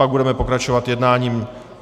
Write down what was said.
Pak budeme pokračovat jednáním.